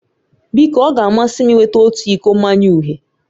Biko ọ ga-amasị m ịnweta otu iko mmanya uhie